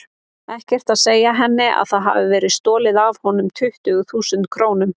Ekkert að segja henni að það hafi verið stolið af honum tuttugu þúsund krónum.